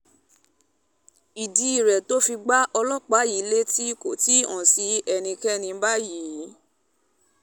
ìdí tó fi gbá ọlọ́pàá yìí létí kò tí ì hàn sí ẹnikẹ́ni báyìí